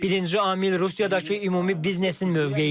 Birinci amil Rusiyadakı ümumi biznesin mövqeyidir.